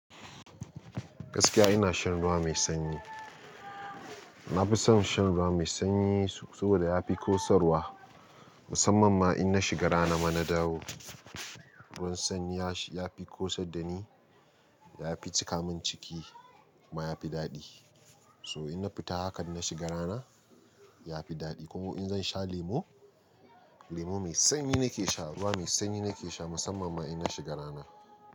Gaskiya ina shan ruwa mai sanyi. Na fi son shan ruwa mai sanyi saboda ya fi kosarwa, musamman ma in na shiga rana mana dawo. Ruwan sanyi ya fi kosar da ni, ya fi cika min ciki kuma ya fi daɗi. So in na fita haka in na shiga rana ya fi daɗi. Ko in zan sha lemo, lemo mai sanyi nake sha, ruwa mai sanyi nake sha musamman ma in na shiga rana.